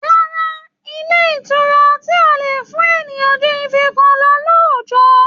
Rárá o, ilé ìtura ọtí ò lè fún èèyàn ju ife kan lọ lóójọ̀ọ́